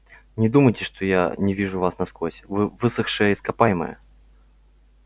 не думайте что я не вижу вас насквозь вы высохшее ископаемое